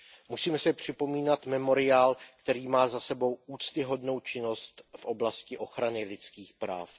Musíme si připomínat Memoriál, který má za sebou úctyhodnou činnost v oblasti ochrany lidských práv.